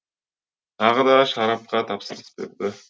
тағы да шарапқа тапсырыс берді